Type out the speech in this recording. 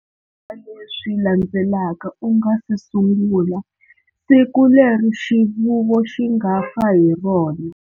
Leswi landzelaka u nga si sungula-siku leri xivuvo xi nga fa hi rona.